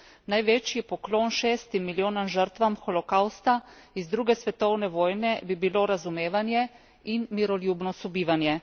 Največji poklon šestim milijonom žrtvam holokavsta iz druge svetovne vojne bi bilo razumevanje in miroljubno sobivanje.